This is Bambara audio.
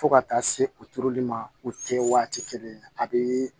Fo ka taa se u turuli ma u tɛ waati kelen a bɛ